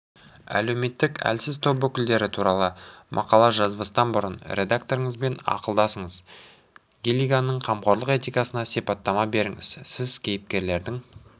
әлеуметтік әлсіз топ өкілдері туралы мақала жазбастан бұрын редакторыңызбен ақылдасыңыз гиллиганның қамқорлық этикасына сипаттама беріңіз сіз кейіпкердің